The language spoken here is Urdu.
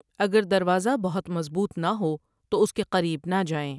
اگر دروازہ بہت مضبوط نہ ہو تو اس کے قریب نہ جائیں ۔